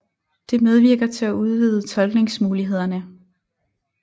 Det medvirker til at udvide tolkningsmulighederne